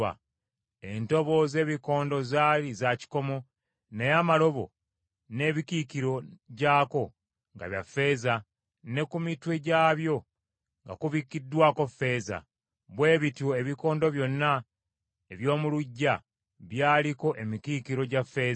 Entobo z’ebikondo zaali za kikomo, naye amalobo n’emikiikiro gyako nga bya ffeeza, ne ku mitwe gyabyo nga kubikkiddwako ffeeza; bwe bityo ebikondo byonna eby’omu luggya byaliko emikiikiro gya ffeeza.